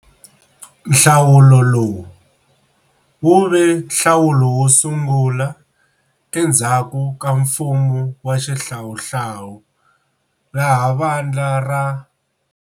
Nhlawulo lowu, wu ve nhlawulo wo sungula endzhaku ka mfumo wa xihlawuhlawu laha vandla ra.